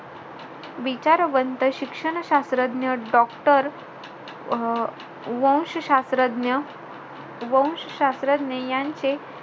विचारवंत शिक्षण शास्रज्ञ doctor अं वंशशास्रज्ञ वंशशास्त्रज्ञ यांचे,